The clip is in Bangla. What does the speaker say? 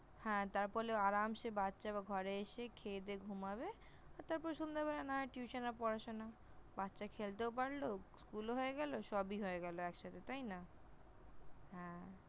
হ্যাঁ! তারফলেও আরামসে বাচ্চা ঘরে এসে খেয়ে দেয়ে ঘুমাবে, তারপর সন্ধেবেলা না হয় Tution এ পড়াশোনা । বাচ্চা খেলতেও পারল, School ও হয়ে গেল সবই হয়ে গেল একসাথে তাই না? হ্যাঁ!